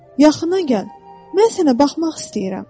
"Yaxına gəl, mən sənə baxmaq istəyirəm."